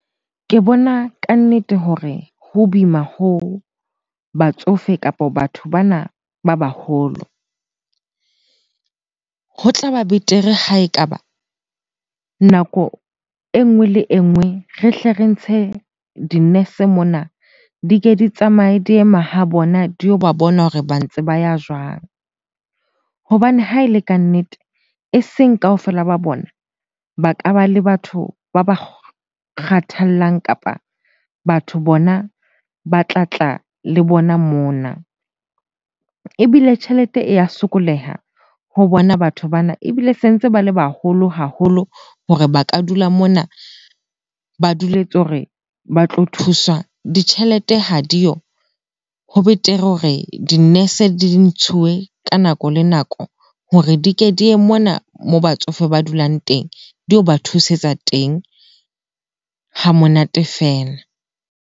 Ke bona kannete hore ho boima ho batsofe kapa batho bana ba baholo. Ho tlaba betere ha ekaba nako e nngwe le e nngwe re hle re ntshe di-nurse mona, di ke di tsamaye di ye mahabona di yo ba bona hore ba ntse ba ya jwang? Hobane ha e le kannete e seng kaofela ba bona ba ka ba le batho ba ba kgathallang kapa batho bona ba tlatla le bona mona. Ebile tjhelete e ya sokoleha ho bona batho bana, ebile se ntse ba le baholo haholo hore ba ka dula mona ba duletse hore ba tlo thuswa, ditjhelete ha diyo. Ho betere hore di-nurse di ntshuwe ka nako le nako hore di ke di ye mona moo batsofe ba dulang teng. Di yo ba thusetsa teng hamonate feela.